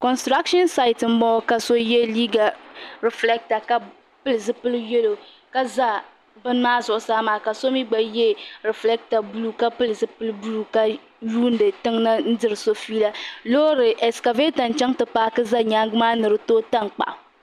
Consitragshin sati n bɔŋɔ ka so yiɛ liiga riflɛta ka pili zupiligu yɛlo ka za bini maa zuɣusaa maa ka so mi gba yiɛ rifligta buluu ka pili zupiligu buluu ka yuuni tiŋna n diri so feela loori eskavɛta n chaŋ ti paaki za yɛangi maa ni di tooi tankpaɣu.